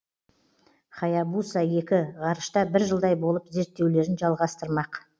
хаябуса екі ғарышта бір жылдай болып зерттеулерін жалғастырмақ